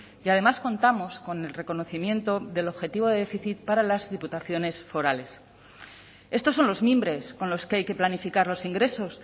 y además contamos con el reconocimiento del objetivo de déficit para las diputaciones forales estos son los mimbres con los que hay que planificar los ingresos